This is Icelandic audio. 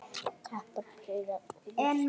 Kappar prýða húsa glugga.